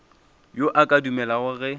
yo a ka dumelago ge